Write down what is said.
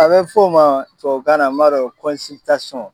A bɛ fɔ o ma tubabukan na n m'a dɔn